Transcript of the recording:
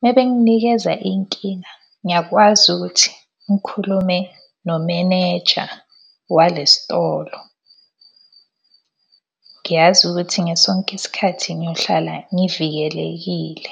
Uma benginikeza inkinga, ngiyakwazi ukuthi ngikhulume nomeneja wale sitolo. Ngiyazi ukuthi ngesonke isikhathi ngiyohlala ngivikelekile.